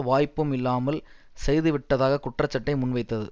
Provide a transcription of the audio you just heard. வாய்ப்பும் இல்லாமல் செய்துவிட்டதாக குற்றச்சாட்டை முன்வைத்தது